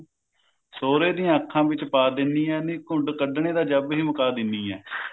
ਸੋਹਰੇ ਦੀਆਂ ਅੱਖਾ ਵਿੱਚ ਪਾ ਦਿੰਨੀ ਆ ਘੁੰਡ ਕੱਢਨੇ ਦਾ ਜਬ੍ਹ ਹੀ ਮੁਕਾ ਦਿਨੀ ਆ